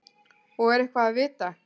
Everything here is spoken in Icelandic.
Og er eitthvað að vita?